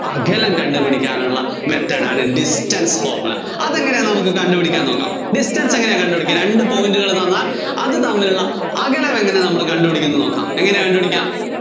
അകലം കണ്ടുപിടിക്കാനുള്ള method ആണ് distance formula. അതെങ്ങിനെയാന്നു നമുക്ക് കണ്ടുപിടിക്കാന്‍ നോക്കാം. distance എങ്ങിനെയാ കണ്ടുപിടിക്കാ, രണ്ട് point കള്‍ തന്നാല്‍ അത് തമ്മിലുള്ള അകലം എങ്ങിനെയാ നമ്മള്‍ കണ്ടുപിടിക്കുന്നെന്ന് നോക്കാം. എങ്ങിനെയാ കണ്ടുപിടിക്കാ